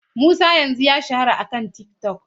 Musa yanzu ya shahara akan TikTok.